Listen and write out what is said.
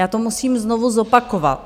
Já to musím znovu zopakovat.